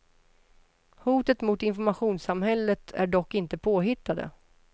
Hoten mot informationssamhället är dock inte påhittade.